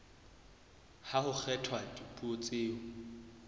ha ho kgethwa dipuo tseo